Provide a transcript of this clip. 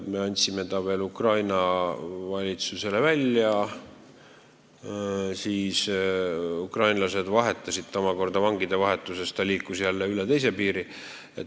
Me andsime ta veel Ukraina valitsusele välja, ukrainlased kasutasid teda omakorda vangide vahetuses ja ta liikus jälle üle teise piiri.